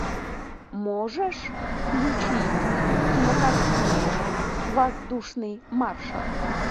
можешь включить кинокартину воздушный маршал